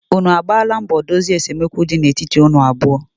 unu agbaala mbọ dozie esemokwu di na etiti unu abụọ?